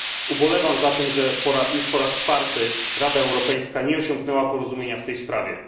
Ubolewam zatem nad tym, że już po raz czwarty Rada Europejska nie osiągnęła porozumienia w tej sprawie.